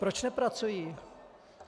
Proč nepracují?